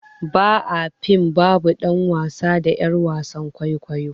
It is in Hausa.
Ba a fim babu dan wasa da yar wasan kwaikwayo.